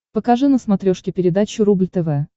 покажи на смотрешке передачу рубль тв